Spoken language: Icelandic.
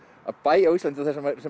að bæ á Íslandi